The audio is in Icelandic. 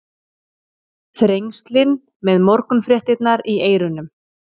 Þrengslin með morgunfréttirnar í eyrunum.